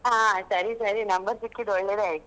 ಹಾ ಸರಿ ಸರಿ number ಸಿಕ್ಕಿದ್ ಒಳ್ಳೇದೇ ಆಯ್ತು